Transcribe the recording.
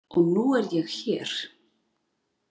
Og nú er ég hér!